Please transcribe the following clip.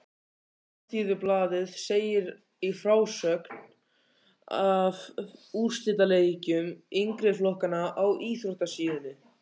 Alþýðublaðið segir í frásögn af úrslitaleikjum yngri flokkanna á íþróttasíðunni